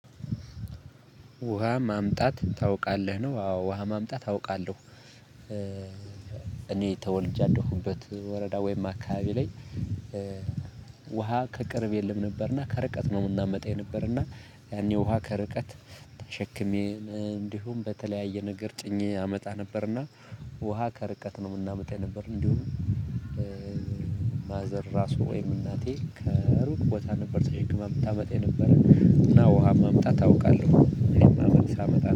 ውሃ ማምጣት ታውቃለህ ነው አዎ ውሃ ማምጣት አውቃለሁ እኔ ተወልጄ ያለሁበት ወረዳ ወይም አካባቢ ላይ። ውሃ ከቅርብ የለም ነበርና ከርቀት ነው የምናመጣው የነበረና። ያኔ ውሃ ከርቀት ተሸክሜ እንዲሁም በተለያየ ነገር ጭኜ አመጣ ነበርና። ውሃ ከርቀት ነው የምናመጣ የነበር እንዲሁም። ማዘር ራሱ ወይም እናቴ ከሩቅ ቦታ ነበር ተሸክማ የምታመጣ የነበረ። እና ውሃ መምጣት አውቃለሁ። እኔም ሳመጣ